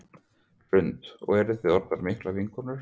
Hrund: Og eruð þið orðnar miklar vinkonur?